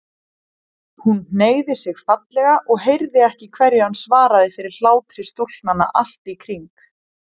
Hún hneigði sig fallega og heyrði ekki hverju hann svaraði fyrir hlátri stúlknanna í kring.